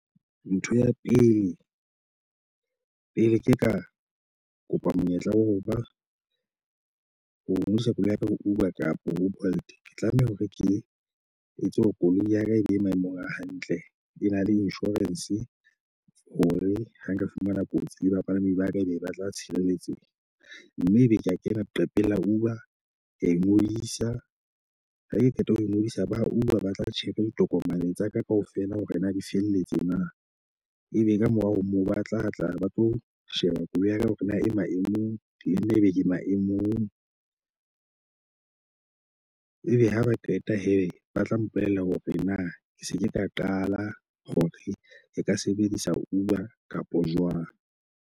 Ntho ya pele pele ke ka kopa monyetla wa ho ba ho emisa koloi apere Uber kapo Bolt ke tlameha hore ke etse hore koloi ya ka e be maemong a hantle. E na le insurance hore ha nka fumana kotsi le bapalami ba ka ebe e ba tla tshireletseha. Mme ebe ke a kena leqhepeng la Uber ke a e ngodisa. Ha ke qeta ho ngodisa ba Uber ba tla tjhepha ditokomane tsa ka kaofela hore na di felletse na. Ebe ka morao ho moo ba tlatla ba tlo sheba koloi hore na e maemong le nna ebe ke maemong. Ebe ha ba qeta hee ba tla mpolella hore na ke se ke tla qala hore le ka sebedisa Uber kapo jwang.